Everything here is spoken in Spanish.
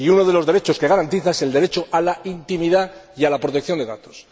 Y uno de los derechos que garantiza es el derecho a la intimidad y a la protección de datos.